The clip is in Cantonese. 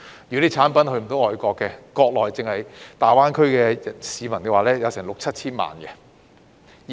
如果產品未能出口外國，內地單是大灣區的市民也有六七千萬人。